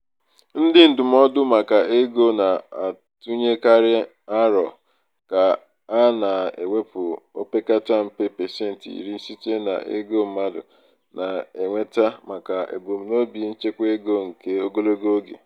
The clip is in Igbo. ndị ndụmọdụ maka ego na-atụnyekarị aro ka a na-ewepụta opekata mpe pasentị iri site n'ego mmadụ na-enweta maka ebumnobi nchekwaego nke ogologo oge.